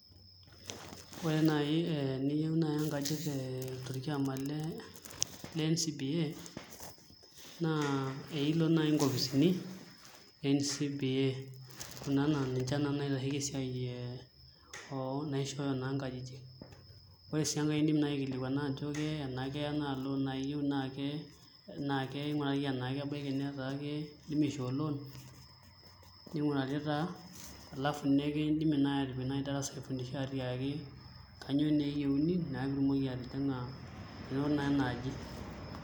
Ore nai ee eniyeu nai enkaji enkaji tee torkioma lee le NCBA naa eilo nai nkopisini e NCBA kuna naa ninche naa naitasheki esiai ee oo naishooyo naa nkajijik. Ore sii enkae iindim nai aikilikuana ajo ke enakeya naa loan nai iyiu naake naake keing'urari enake kebaiki netaa ake kindimi aishoo loan, ning'urari taa alafu nekindimi nai aatipik nai darasa aifundisha aatiaki kanyo nee eyeuni naa piitumoki atijing'a duo naa ena aji.